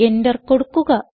enter കൊടുക്കുക